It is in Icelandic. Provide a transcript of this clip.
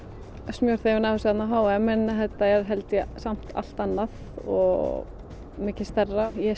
smjörþefinn af þessu á h m en þetta er samt allt annað og mikið stærra ég